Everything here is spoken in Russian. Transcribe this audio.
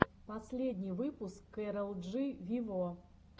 последний выпуск кэрол джи виво